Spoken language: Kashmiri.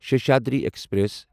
سیشادری ایکسپریس